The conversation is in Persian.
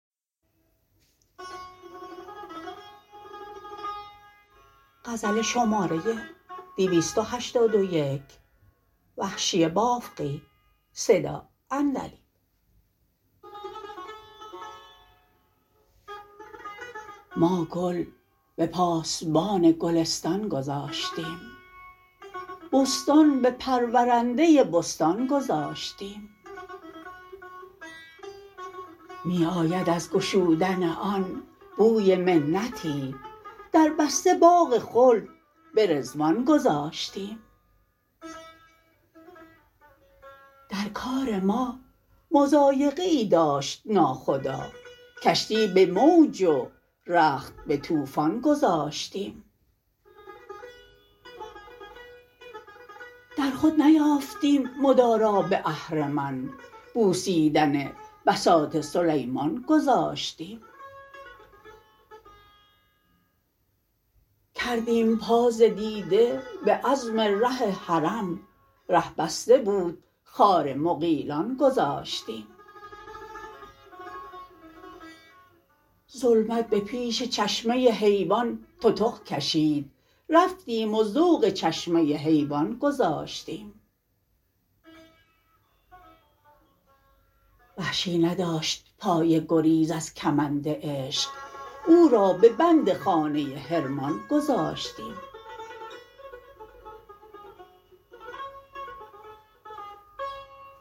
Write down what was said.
ما گل به پاسبان گلستان گذاشتیم بستان به پرورنده بستان گذاشتیم می آید از گشودن آن بوی منتی در بسته باغ خلد به رضوان گذاشتیم در کار ما مضایقه ای داشت ناخدا کشتی به موج و رخت به توفان گذاشتیم در خود نیافتیم مدارا به اهرمن بوسیدن بساط سلیمان گذاشتیم کردیم پا ز دیده به عزم ره حرم ره بسته بود خار مغیلان گذاشتیم ظلمت به پیش چشمه حیوان تتق کشید رفتیم و ذوق چشمه حیوان گذاشتیم وحشی نداشت پای گریز از کمند عشق او را به بند خانه حرمان گذاشتیم